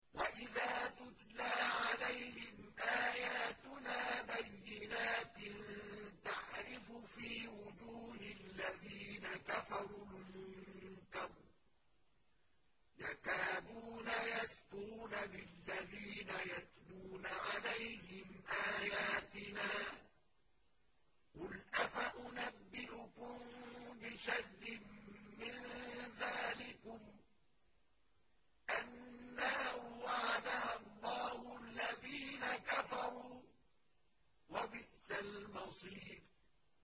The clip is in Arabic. وَإِذَا تُتْلَىٰ عَلَيْهِمْ آيَاتُنَا بَيِّنَاتٍ تَعْرِفُ فِي وُجُوهِ الَّذِينَ كَفَرُوا الْمُنكَرَ ۖ يَكَادُونَ يَسْطُونَ بِالَّذِينَ يَتْلُونَ عَلَيْهِمْ آيَاتِنَا ۗ قُلْ أَفَأُنَبِّئُكُم بِشَرٍّ مِّن ذَٰلِكُمُ ۗ النَّارُ وَعَدَهَا اللَّهُ الَّذِينَ كَفَرُوا ۖ وَبِئْسَ الْمَصِيرُ